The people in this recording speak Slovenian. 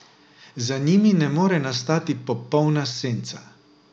Za njimi ne more nastati popolna senca.